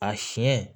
A siɲɛ